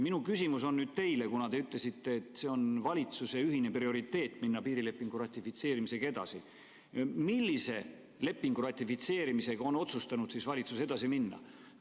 Minu küsimus on nüüd teile, et kuna te ütlesite, et piirilepingu ratifitseerimisega edasi minemine on valitsuse ühine prioriteet, siis millise lepingu ratifitseerimisega on valitsus otsustanud edasi minna?